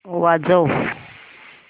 वाजव